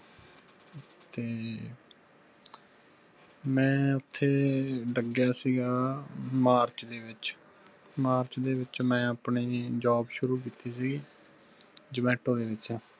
ਮੈ ਓਥੇ ਲੱਗਿਆ ਸੀਗਾ ਮਾਰਚ ਦੇ ਵਿਚ ਮਾਰਚ ਦੇ ਵਿਚ ਮੈ ਆਪਨੇ job ਸ਼ੁਰੂ ਕੀਤੀ ਸੀ। zomato ਦੇ ਵਿਚ